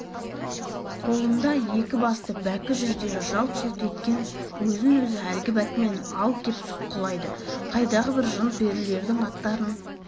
қолында екі басты бәкі жүздері жалт-жұлт еткен өзін-өзі әлгі бәкімен ал кеп сұққылайды қайдағы бір жын-перілердің аттарын